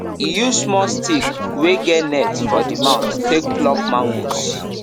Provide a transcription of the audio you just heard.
he use small stick wey get net for the mouth take pluck mangoes